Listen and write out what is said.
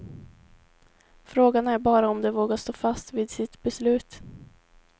Frågan är bara om de vågar stå fast vid sitt beslut.